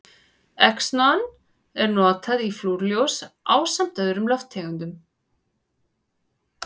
Xenon er notað í flúrljós ásamt öðrum lofttegundum.